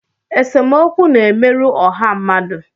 Esemokwu na-emerụ ọha mmadụ